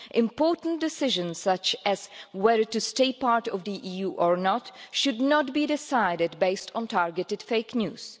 Important decisions, such as whether to stay part of the EU or not, should not be decided based on targeted fake news.